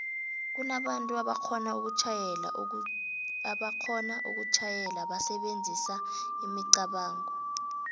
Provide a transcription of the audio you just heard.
kunabantu aboxhona ukutjhayela basebenzisa imicabango